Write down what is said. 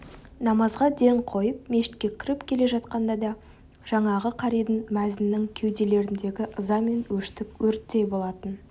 намазға ден қойып мешітке кіріп келе жатқанда да жаңағы қаридың мәзіннің кеуделеріндегі ыза мен өштік өрттей болатын